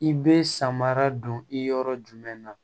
I bɛ samara don i yɔrɔ jumɛn na